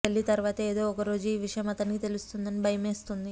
పెళ్లి తరువాత ఏదో ఒక రోజు ఈ విషయం అతనికి తెలుస్తుందని భయమేస్తోంది